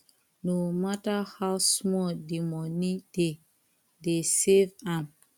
no matter how small the money dey dey save am